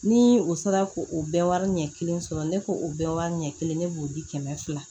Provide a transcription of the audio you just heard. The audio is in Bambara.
Ni o sera ko o bɛɛ wari ɲɛ kelen sɔrɔ ne ko o bɛɛ wari ɲɛ kelen ne b'o di kɛmɛ fila